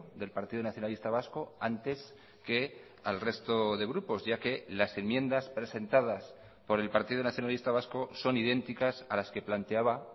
del partido nacionalista vasco antes que al resto de grupos ya que las enmiendas presentadas por el partido nacionalista vasco son idénticas a las que planteaba